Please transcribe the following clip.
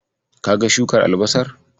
Kaga shukar albasar?